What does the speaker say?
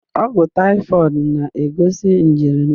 Ọgwụ taifọid na-egosipụta njirimara nje.